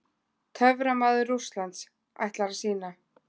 TÖFRAMAÐUR RÚSSLANDS ætlar að sýna.